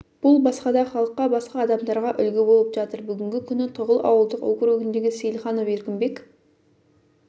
бұл басқа да халыққа басқа адамдарға үлгі болып жатыр бүгінгі күні тұғыл ауылдық округіндегі сейілханов еркінбек